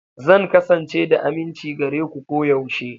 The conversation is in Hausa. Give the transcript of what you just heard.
Zan kasance da aminci gare ku koyaushe.